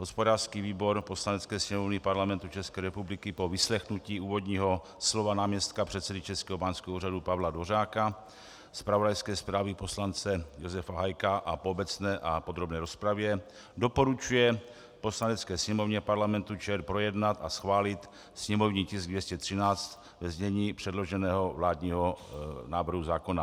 "Hospodářský výbor Poslanecké sněmovny Parlamentu České republiky po vyslechnutí úvodního slova náměstka předsedy Českého báňského úřadu Pavla Dvořáka, zpravodajské zprávy poslance Josefa Hájka a po obecné a podrobné rozpravě doporučuje Poslanecké sněmovně Parlamentu ČR projednat a schválit sněmovní tisk 213 ve znění předloženého vládního návrhu zákona."